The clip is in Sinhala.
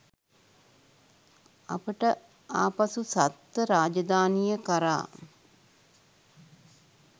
අපට ආපසු සත්ව රාජධානිය කරා